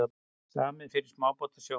Samið fyrir smábátasjómenn